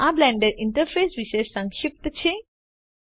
તો આ Blender interface વિષે સંક્ષિપ્ત છે